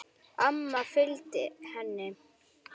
Amma fylgdi henni.